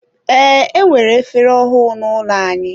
Ee, enwere efere ọhụụ n'ụlọ anyị.